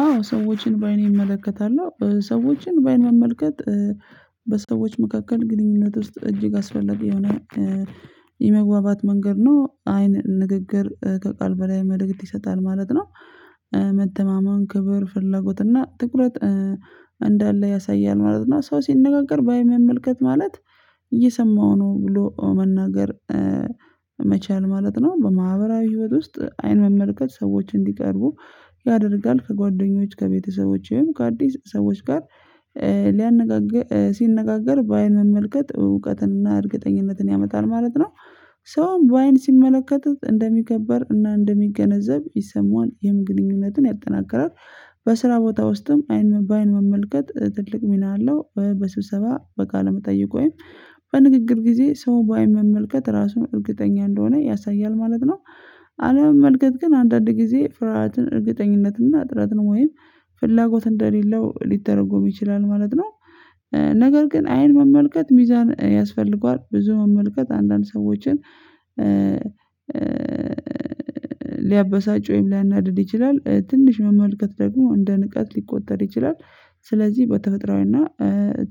አዎ ሰዎችን በአይኔ እመለከታለሁ ሰዎችን በአይን መመልከት በሰዎች መካከል ግንኙነት ውስጥ እጅግ አስፈላጊ የሆነ የመግባባት መንገድ ነው አይን ንግግር ከቃል በላይ መልእክት ይሰጣል ማለት ነው። መደማመን ክብር ፍላጎት እና ትኩረት እንዳለ ያሳያል ማለት ነው። ሰው ሲነጋገር ባይን መመልከት ማለት እየሰማሁ ነው ብሎ መናገር መቻል ማለት ነው። በማህበራዊ ህይወት ውስጥ አይን መመልከት ሰዎች እንዲቀርቡ ያደርጋል። ከጓደኞች ከቤተሰቦች ወይም ከአዲስ ሰዎች ጋር ሊያነጋገር ሲነጋገር በአይን መመልከት እውቀትን እና እርግጠኝነትን ያመጣል ማለት ነው። ሰውም በአይን ሲመለከት እንደሚከበር እና እንደሚገነዘብ ይሰማዋል ይህም ግንኙነትን ያጠናክራል። በስራ ቦታ ውስጥም በአይን መመልከት ትልቅ ሚና አለው። በስብሰባ በቃለ መጠይቅ ወይም በንግግር ጊዜ ሰው ባይን መመልከት ራሱን እርግጠኛ እንደሆነ ያሳያል ማለት ነው። አለመመልከት ግን አንዳንድ ጊዜ ፍርሃትን እርግጠኝነትና ጥረትን ወይም ፍላጎት እንደሌለው ሊተረጎም ይችላል ማለት ነው። ነገር ግን አይን መመልከት ሚዛን ያስፈልገዋል ብዙ መመልከት አንዳንድ ሰዎችን ሊያበሳጭ ወይም ሊያናድድ ይችላል ትንሽ መመልከት ደግሞ እንደ ንቀት ሊቆጠር ይችላል። ስለዚህ በተፈጥሮአዊና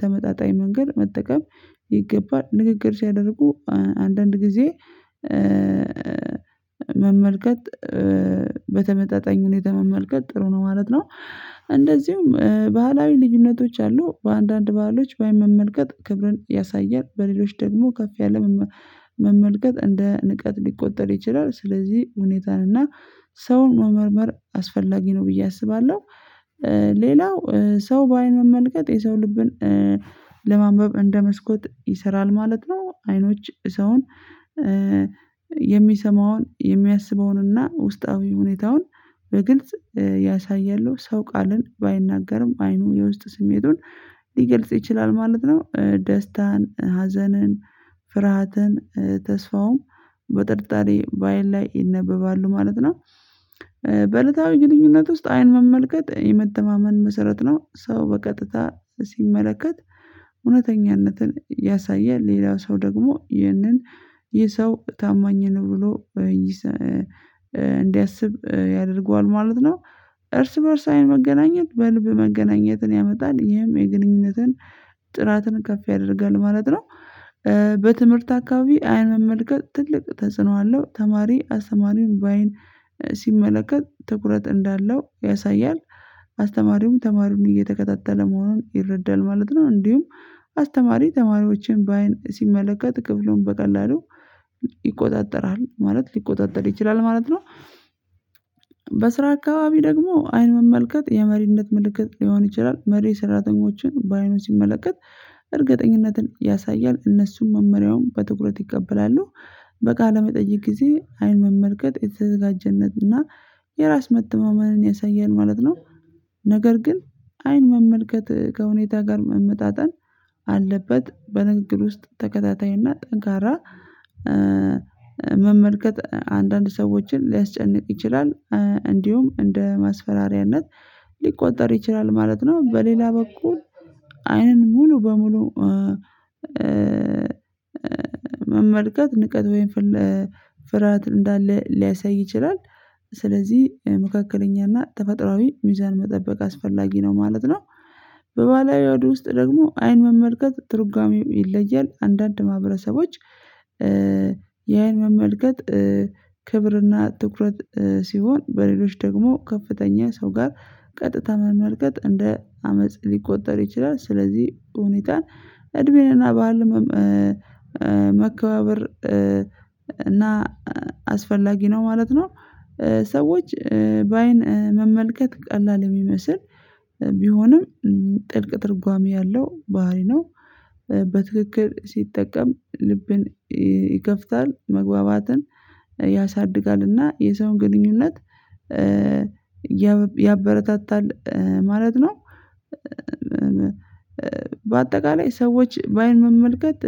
ተመጣጣኝ መንገድ መጠቀም ይገባል። ንግግር ሲያደርጉ አንዳንድ ጊዜ መመልከት በተመጣጣኝ ሁኔታ መመልከት ጥሩ ነው ማለት ነው። እንደዚሁም ባህላዊ ልዩነቶች አሉ በአንዳንድ ባህሎች ባይን መመልከት ክብርን ያሳያል በሌሎች ደግሞ ከፍ ያለ መመልከት እንደ ንቀት ሊቆጠር ይችላል። ስለዚህ ሁኔታን እና ሰውን መመርመር አስፈላጊ ነው ብዬ አስባለሁ። ሌላው ሰው በአይን መመልከት የሰው ልብን ለማንበብ እንደ መስኮት ይሰራል ማለት ነው። አይኖች ሰውን የሚሰማውን የሚያስበውንና ውስጣዊ ሁኔታውን በግልጽ ያሳያሉ። ሰው ቃልን ባይናገርም አይኑ የውስጥ ስሜቱን ሊገልጽ ይችላል ማለት ነው። ደስታን ሀዘንን ፍርሃትን ተስፋውም በጥርጣሬ ባይን ላይ ይነበባሉ ማለት ነው። በለታዊ ግንኙነት ውስጥ አይን መመልከት የመተማመን መሰረት ነው። ሰው በቀጥታ ሲመለከት እውነተኛነትን ያሳያል ሌላው ሰው ደግሞ ይህንን ይህ ሰው ታማኝ ነው ብሎ እንዲያስብ ያደርገዋል ማለት ነው። እርስ በእርስ አይን መገናኘት በልብ መገናኘትን ያመጣል ይሄም የግንኙነትን ጥራትን ከፍ ያደርጋል ማለት ነው። በትምህርት አካባቢ አይን መመልከት ትልቅ ተጽኖ አለው። ተማሪ አስተማሪውን በአይን ሲመለከት ትኩረት እንዳለው ያሳያል አስተማሪውም ተማሪውን እየተከታተለ መሆኑን ይረዳል ማለት ነው። እንዲሁም አስተማሪ ተማሪዎችን በአይን ሲመለከት ክፍሉን በቀላሉ ይቆጣጠራል ማለት ሊቆጣጠር ይችላል ማለት ነው። በስራ አካባቢ ደግሞ አይን መመልከት የመሪነት ምልክት ሊሆን ይችላል መሪ ሰራተኞችን በአይኑ ሲመለከት እርግጠኝነትን ያሳያል። እነሱም መመሪያውን በትኩረት ይቀበላሉ። በቃለ መጠይቅ ጊዜ አይን መመልከት የተዘጋጀነት እና የራስ መተማመንን ያሳያል ማለት ነው። ነገር ግን አይን መመልከት ከሁኔታ ጋር መመጣጠን አለበት በንግግር ውስጥ ተከታታይ እና ጠንካራ መመልከት አንዳንድ ሰዎችን ሊያስጨንቅ ይችላል። እንዲሁም እንደ ማስፈራሪያነት ሊቆጠር ይችላል ማለት ነው። በሌላ በኩል አይንን ሙሉ በሙሉ መመልከት ንቀት ወይም ፍርሃት እንዳለ ሊያሳይ ይችላል። ስለዚህ መካከለኛና ተፈጥሮአዊ ሚዛን መጠበቅ አስፈላጊ ነው ማለት ነው። በባለሀዱ ውስጥ ደግሞ አይን መመልከት ትርጓሜው ይለያል። አንዳንድ ማህበረሰቦች የአይን መመልከት ክብርና ትኩረት ሲሆን በሌሎች ደግሞ ከፍተኛ ሰው ጋር ቀጥታ መመልከት እንደ አመጽ ሊቆጠር ይችላል። ስለዚህ ሁኔታን እድሜንና በዓልም መከባበር እና አስፈላጊ ነው ማለት ነው። ሰዎች በአይን መመልከት ቀላል የሚመስል ቢሆንም ጥልቅ ትርጓሜ ያለው ባህሪ ነው። በትክክል ሲጠቀም ልብን ይከፍታል መግባባትን ያሳድጋል እና የሰውን ግንኙነት ያበረታታል ማለት ነው። በአጠቃላይ ሰዎች በአይን መመልከት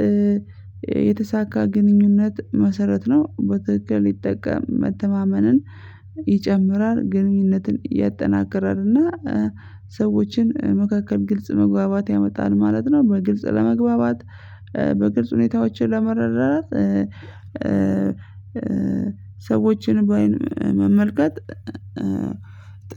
የተሳካ ግንኙነት መሰረት ነው። በትክክል ይጠቀም መተማመንን ይጨምራል ግንኙነትን ያጠናክራል እና ሰዎችን መካከል ግልጽ መግባባት ያመጣል ማለት ነው። በግልጽ ለመግባባት በግልጽ ሁኔታዎችን ለመረዳዳት ሰዎችን በአይን መመልከት